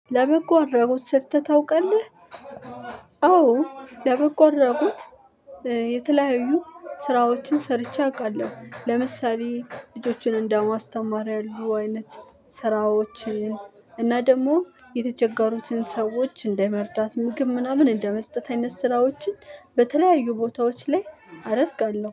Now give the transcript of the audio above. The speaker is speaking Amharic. ለበጎ አድራጎት ሰርተህ ታውቃለህ? አዎ ለበጎ አድራጎት የተለያዩ ስራዎችን ሰርቼ አውቃለሁ። ለምሳሌ ልጆችን እንደማስተማር ያሉ አይነት ስራዎችን እና ደግሞ የተቸገሩትን ሰዎች እንደመርዳት ምግብ ምናምን እንደመስጠት አይነት ስራዎችን በተለያዩ ቦታዎች ላይ አደርጋለሁ።